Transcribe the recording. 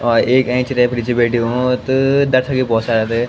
और एक एैंच रैफरी च बैठयूँ त दर्शक भी भौत सारा थे।